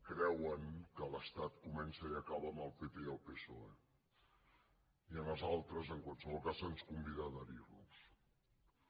creuen que l’estat comença i acaba amb el pp i el psoe i als altres en qualsevol cas se’ns convida a adherir nos hi